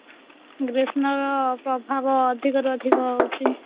ଗ୍ରୀଷ୍ମ ର ପ୍ରଭାବ ଅଧିକ ରୁ ଅଧିକ ହୋଉଛି